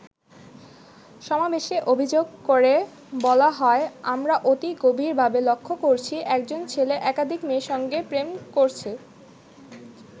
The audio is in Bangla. সমাবেশে অভিযোগ করে বলা হয়, আমরা অতি গভীর ভাবে লক্ষ করছি, একজন ছেলে একাধিক মেয়ের সঙ্গে প্রেম করছে।